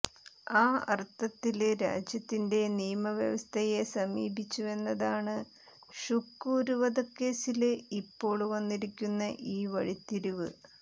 ആ അര്ത്ഥത്തില് രാജ്യത്തിന്റെ നിയമ വ്യവസ്ഥയെ സമീപിച്ചുവെന്നതാണ് ഷുക്കൂര് വധക്കേസ്സില് ഇപ്പോള് വന്നിരിക്കുന്ന ഈ വഴിത്തിരിവ്